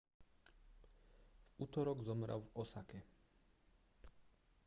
v utorok zomrel v osake